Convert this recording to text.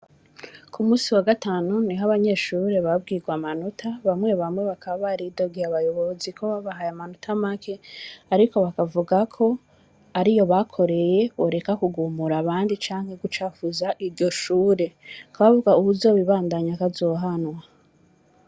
Ku munsi wa gatanu niho abanyeshure babwirwa amanota, bamwe bamwe bakaba baridogeye abayobozi ko babahaye amanota make, ariko bakavuga ko ariyo bakoreye, boreka kugumura abandi canke gucafuza iryo shure, bakaba bavuga uwuzobibandanya ko azohanwa.